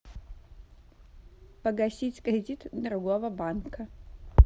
погасить кредит другого банка